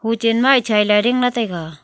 chen ma chaira jing ley taiga.